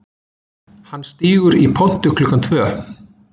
Hann stígur í pontu klukkan tvö